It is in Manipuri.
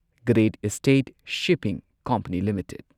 great Eastern Shipping Company limited